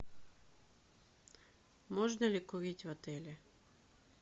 можно ли курить в отеле